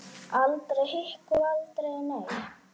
Aldrei hik og aldrei nei.